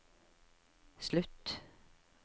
slutt